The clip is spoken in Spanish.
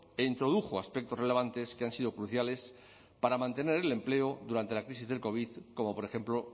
e introdujo aspectos relevantes que han sido cruciales para mantener el empleo durante la crisis del covid como por ejemplo